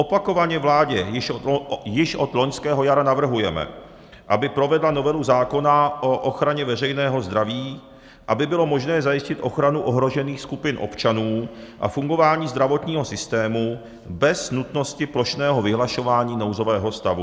Opakovaně vládě již od loňského jara navrhujeme, aby provedla novelu zákona o ochraně veřejného zdraví, aby bylo možné zajistit ochranu ohrožených skupin občanů a fungování zdravotního systému bez nutnosti plošného vyhlašování nouzového stavu.